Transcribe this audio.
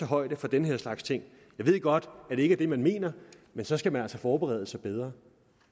højde for den her slags ting jeg ved godt at det ikke det man mener men så skal man altså forberede sig bedre